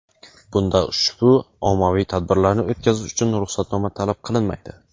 Bunda ushbu ommaviy tadbirlarni o‘tkazish uchun ruxsatnoma talab qilinmaydi.